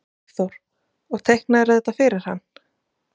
Hafþór: Og teiknaðirðu þetta fyrir hann?